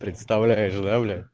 представляешь да блядь